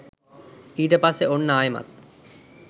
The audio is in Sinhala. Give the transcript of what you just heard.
ඊට පස්සේ ඔන්න ආයෙමත්